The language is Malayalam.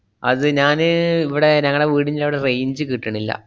അത് ഞാന് ഇവിടെ ഞങ്ങടെ വീടിന്‍റവടെ range കിട്ടണില്ല.